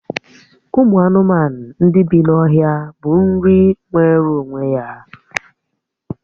Ụmụ anụmanụ ndị bí n'ọhịa bụ nri nwere onwe ya